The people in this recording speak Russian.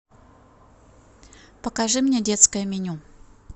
покажи мне детское меню